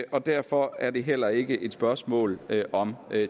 og derfor er det heller ikke et spørgsmål om